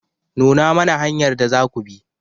Nuna mana hanyar da zaku bi.